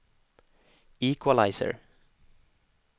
equalizer